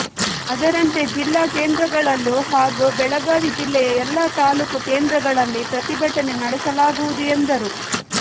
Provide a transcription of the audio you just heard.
ಅದರಂತೆ ಜಿಲ್ಲಾ ಕೇಂದ್ರಗಳಲ್ಲೂ ಹಾಗೂ ಬೆಳಗಾವಿ ಜಿಲ್ಲೆಯ ಎಲ್ಲ ತಾಲೂಕು ಕೇಂದ್ರಗಳಲ್ಲಿ ಪ್ರತಿಭಟನೆ ನಡೆಸಲಾಗುವುದು ಎಂದರು